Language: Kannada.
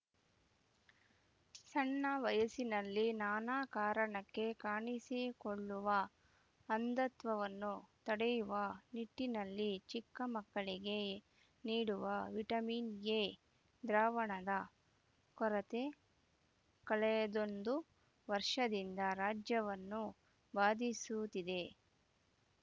ಸಣ್ಣ ವಯಸ್ಸಿನಲ್ಲಿ ನಾನಾ ಕಾರಣಕ್ಕೆ ಕಾಣಿಸಿಕೊಳ್ಳುವ ಅಂಧತ್ವವನ್ನು ತಡೆಯುವ ನಿಟ್ಟಿನಲ್ಲಿ ಚಿಕ್ಕ ಮಕ್ಕಳಿಗೆ ನೀಡುವ ವಿಟಮಿನ್‌ ಎ ದ್ರಾವಣದ ಕೊರತೆ ಕಳೆದೊಂದು ವರ್ಷದಿಂದ ರಾಜ್ಯವನ್ನು ಬಾಧಿಸುತ್ತಿದೆ